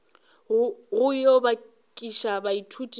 go yo bakiša baithuti ba